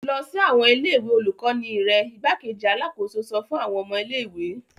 Lọ sí awọn ilé-ìwé olukọni rẹ! Igbákejì Alàkóso sọ fun awọn ọmọ ilé-ìwé